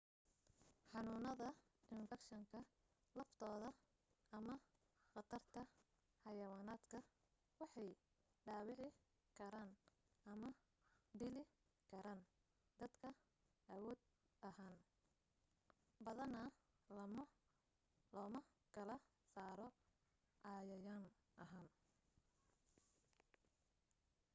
xanuunada infakshanka laftooda ama qatarta xeyawaanaadka waxay dhaawici karaan ama dili karaan dadka awood ahaan badana looma kala saaro cayayan ahaan